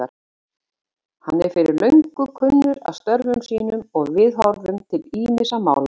Hann er fyrir löngu kunnur af störfum sínum og viðhorfum til ýmissa mála.